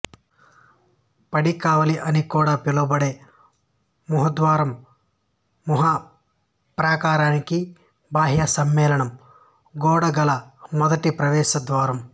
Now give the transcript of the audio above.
పడికావలి అని కూడా పిలువబడే మహద్వారం మహాప్రాకారానికి బాహ్య సమ్మేళనం గోడ గల మొదటి ప్రవేశ ద్వారం